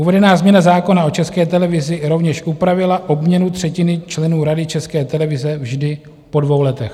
Uvedená změna zákona o České televizi rovněž upravila obměnu třetiny členů Rady České televize vždy po dvou letech.